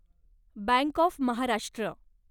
bank of Maharashtra